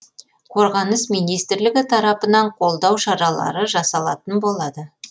қорғаныс министрлігі тарапынан қолдау шаралары жасалатын болады